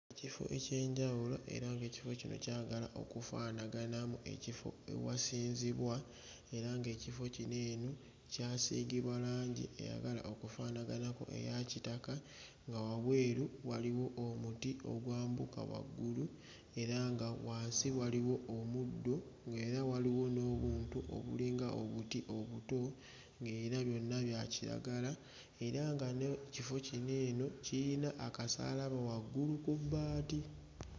Ekifo eky'enjawulo era ng'ekifo kino kyagala okufaanaganamu ekifo ewasinzibwa era ng'ekifo kino eno kyasiigibwa langi eyagala okufaanaganako eya kitaka, nga wabweru waliwo omuti ogwambuka waggulu era nga wansi waliwo omuddo era waliwo n'obuntu obulinga obuti obuto, ng'era byonna bya kiragala era nga n'ekifo kino eno kiyina akasaalaba waggulu ku bbaati.